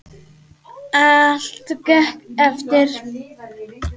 Allt gekk eftir.